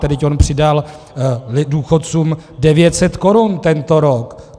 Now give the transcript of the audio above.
Vždyť on přidal důchodcům 900 korun tento rok.